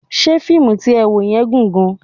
Ṣé fíìmù tí ẹ wò yẹn gùn gan-an?